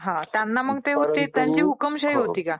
हां त्यांना मग त्यांची हुकूमशाही होती का?